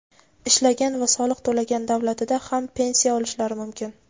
ishlagan va soliq to‘lagan davlatida ham pensiya olishlari mumkin.